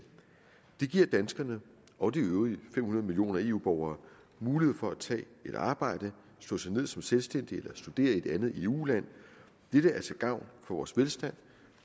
det giver danskerne og de øvrige fem hundrede millioner eu borgere mulighed for at tage et arbejde slå sig ned som selvstændige eller studere i et andet eu land dette er til gavn for vores velstand